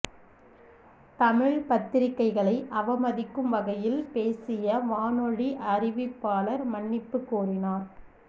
தமிழ்ப் பத்திரிகைகளை அவமதிக்கும் வகையில் பேசிய வானொலி அறிவிப்பாளர் மன்னிப்பு கோரினார்